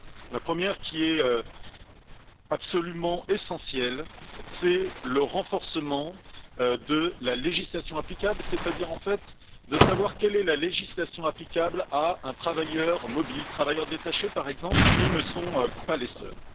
La première, qui est absolument essentielle, est le renforcement de la législation applicable, c'est à dire, savoir quelle est la législation applicable à un travailleur mobile les travailleurs détachés, par exemple, mais ils ne sont pas les seuls.